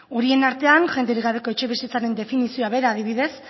horien artean jenderik gabeko etxebizitzaren definizioa bera adibidez